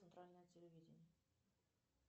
центральное телевидение